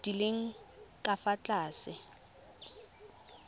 di leng ka fa tlase